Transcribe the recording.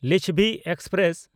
Lichchhavi express